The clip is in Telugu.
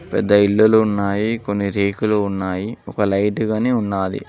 పెద్ద ఇల్లులు ఉన్నాయి కొన్ని రేకులు ఉన్నాయి ఒక లైటు గానీ ఉన్నాది.